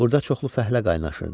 Burada çoxlu fəhlə qaynaşırdı.